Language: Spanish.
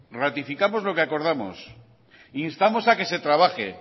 ratificamos lo que acordamos instamos a que se trabaje